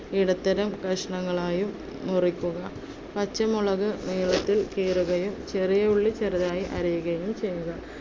ഇടത്തരം കഷണങ്ങളായും മുറിക്കുക. പച്ചമുളക് നീളത്തിൽ കീറുകയും, ചെറിയ ഉള്ളി ചെറുതായി അരിയുകയും ചെയ്യുക.